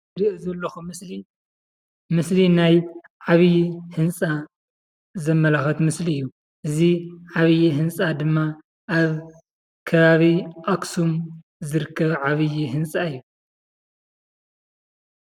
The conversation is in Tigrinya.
አዚ ትርእይዎ ዘለኩም ምስሊ ምስሊ ናይ ዓቢይ ህንፃ ዘማላክት ምስሊ እዩ፡፡ እዚ ዓብይ ህንፃ ድማ ኣብ ከባቢ ኣክሱም ዝርከብ ዓብይ ህንፃ እዩ፡